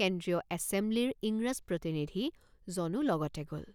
কেন্দ্ৰীয় এছেমব্লিৰ ইংৰাজ প্ৰতিনিধিজনো লগতে গল।